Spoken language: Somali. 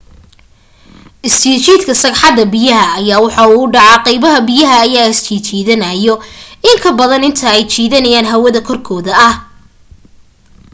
isjijiidka sagxadda biyaha ayaa wuxuu u dhacaa qaybaha biyaha ayaa isjiidanaayo in ka badan inta ay jiidanayaan hawada korkooda ah